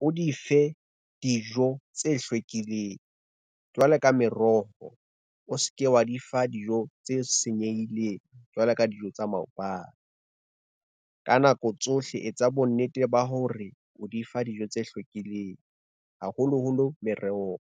o di fe dijo tse hlwekileng jwalo ka meroho, o ske wa di fa dijo tse senyehileng jwalo ka dijo tsa maobane. Ka nako tsohle etsa bonnete ba hore o di fa dijo tse hlwekileng haholoholo merohong.